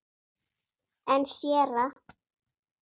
En séra